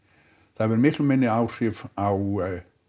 það hefur miklu minni áhrif á